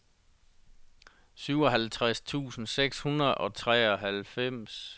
syvoghalvtreds tusind seks hundrede og treoghalvfems